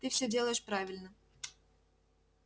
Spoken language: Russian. ты всё делаешь правильно